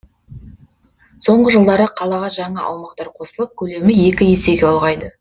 соңғы жылдары қалаға жаңа аумақтар қосылып көлемі екі есеге ұлғайды